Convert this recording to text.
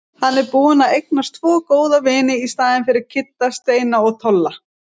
Hann er búinn að eignast tvo góða vini í staðinn fyrir Kidda- Steina og Tolla.